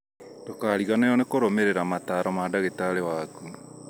Ndũkariganĩrwo nĩ kũrũmĩrĩra mataro ma ndagĩtarĩ waku